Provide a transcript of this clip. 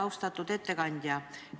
Austatud ettekandja!